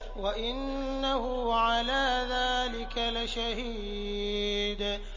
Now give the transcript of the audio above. وَإِنَّهُ عَلَىٰ ذَٰلِكَ لَشَهِيدٌ